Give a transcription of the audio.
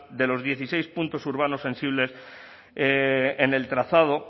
de los dieciséis puntos urbanos sensibles en el trazado